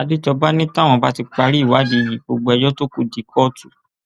àdéjọba ni táwọn bá ti parí ìwádìí yìí gbogbo ẹjọ tó kù di kóòtù